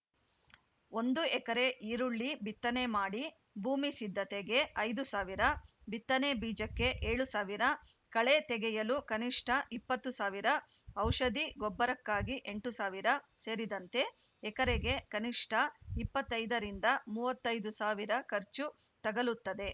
ಒಂದು ಎಕರೆ ಈರುಳ್ಳಿ ಬಿತ್ತನೆ ಮಾಡಿ ಭೂಮಿ ಸಿದ್ಧತೆಗೆ ಐದುಸಾವಿರ ಬಿತ್ತನೆ ಬೀಜಕ್ಕೆ ಏಳು ಸಾವಿರ ಕಳೆ ತೆಗೆಯಲು ಕನಿಷ್ಠ ಇಪ್ಪತ್ತು ಸಾವಿರ ಔಷಧಿ ಗೊಬ್ಬರಕ್ಕಾಗಿ ಎಂಟು ಸಾವಿರ ಸೇರಿದಂತೆ ಎಕರೆಗೆ ಕನಿಷ್ಠ ಇಪ್ಪತ್ತ್ ಐದರಿಂದ ಮೂವತ್ತ್ ಐದು ಸಾವಿರ ಖರ್ಚು ತಗಲುತ್ತದೆ